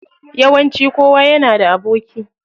Yawanci kowa yana da aboki.